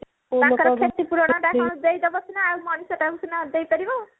ତାଙ୍କର କ୍ଷତି ପୂରଣ ଟା କଣ ଦେଇଦବ ସିନା ଆଉ ମଣିଷଟାକୁ ସିନା ଦେଇ ପାରିବ